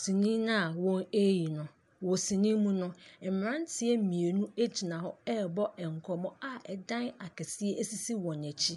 sini no a wɔreyi no. Wɔ si yi mu no, mmeranteɛ mmienu gyina hɔ rebɔ nkɔmmɔ a ɛdan akɛseɛ sisi wɔn akyi.